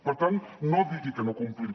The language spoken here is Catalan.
per tant no digui que no complim